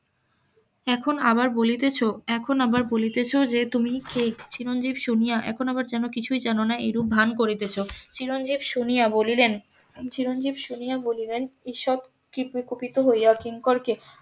এখন আবার বলিতেছ এখন আবার বলিতেছ যে তুমি কে চিরঞ্জিব শুনিয়া এখন আবার যেন কিছুই জানো না এইরূপ ভ্যান করিতেছ চিরঞ্জিব শুনিয়া বলিলেন চিরঞ্জিব শুনিয়া বলিলেন ঈষৎ কুপিত হয়ে কিঙ্করকে